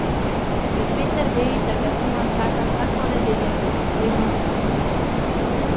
Ker Peter ve, da ga Simon čaka vsak ponedeljek, sredo in petek.